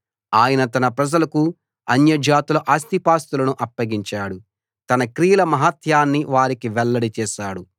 ఆయన తన ప్రజలకు అన్యజాతుల ఆస్తిపాస్తులను అప్పగించాడు తన క్రియల మహాత్మ్యాన్ని వారికి వెల్లడి చేశాడు